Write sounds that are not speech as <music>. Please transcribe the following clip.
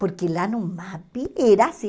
Porque lá no <unintelligible> era assim.